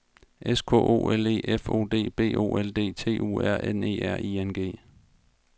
S K O L E F O D B O L D T U R N E R I N G